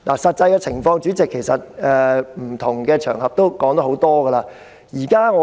實際情況，議員在不同場合皆已多次討論。